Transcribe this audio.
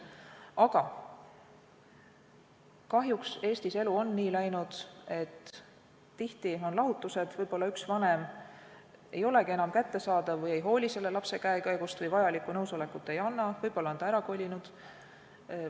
Paraku on elu Eestis ka nii läinud, et abielu lahutatakse, võib-olla üks vanem ei ole enam kättesaadav või ei hooli lapse käekäigust või ei anna vajalikku nõusolekut, võib-olla on ta ära kolinud.